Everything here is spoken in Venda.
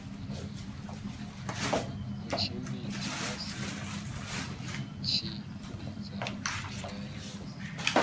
mutshutshisi ya si tshimbidze mbilaelo